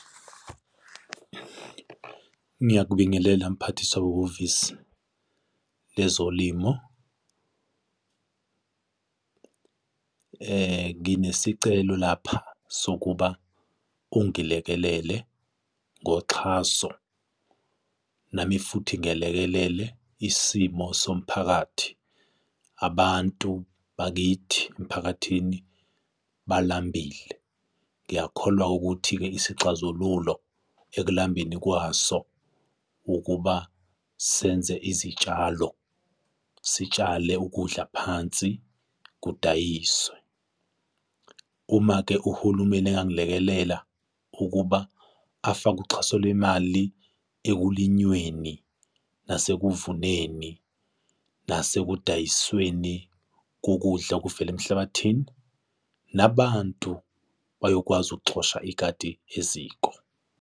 Ngiyakubingelela mphathiswa wehhovisi lwezolimo. Nginesicelo lapha sokuba ungilekelele ngoxhaso nami futhi ngelekelele isimo somphakathi. Abantu bakithi emphakathini balambile, ngiyakholwa ukuthi-ke isixazululo ekulambeni kwaso ukuba senze izitshalo, sitshale ukudla phansi, kudayiswe. Uma-ke uhulumeni engangilekelela ukuba afake uxhaso lwemali ekulinyweni nasekuvuneni nase sekudayisweni kokudla okuvela emhlabathini, nabantu bayokwazi ukuxosha ikati eziko.